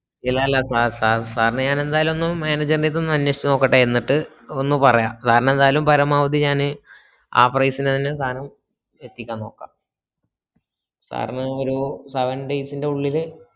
ഇല്ലല്ലാ sir sir sir നെ ഞാൻ എന്തായാലൊന്നും maneger നെറ്റൊന്നും അനേഷിച്ചോക്കട്ടെ എന്നിട്ട് ഒന്നു പറയാം sir ന് എന്തായാലും പരമാവധി ഞാന് ആ price ന് തന്നെ സാനം എത്തിക്കാനോക്കാ sir ന് ഒരു seven days ന്റെ ഉള്ളില്